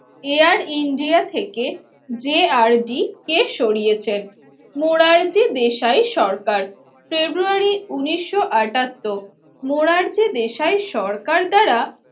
Air India থেকে যে R D কে সরিয়েছেন morality বিষয়ে সরকার ফেব্রুয়ারি উনিশশো আটাত্তর moral বিষয়ে সরকার দ্বারা